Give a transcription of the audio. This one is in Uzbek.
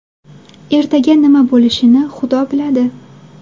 Ertaga nima bo‘lishini Xudo biladi.